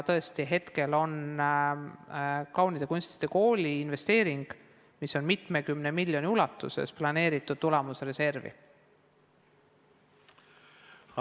Tõesti, hetkel on kaunite kunstide kooli investeering, mille suurus on mitukümmend miljonit, planeeritud tulemusreservi rahast.